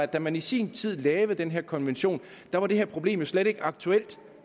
da man i sin tid lavede den her konvention var det her problem slet ikke aktuelt